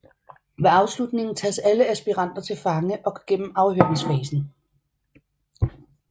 Ved afslutningen tages alle aspiranter til fange og går igennem afhøringsfasen